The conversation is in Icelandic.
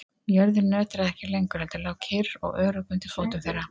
Jörðin nötraði ekki lengur heldur lá kyrr og örugg undir fótum þeirra.